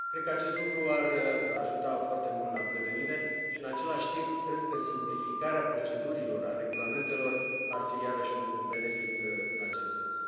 Cred că acest lucru ar ajuta foarte mult la prevenire și, în același timp, cred că simplificarea procedurilor, a regulamentelor ar fi iarăși un lucru benefic în acest sens.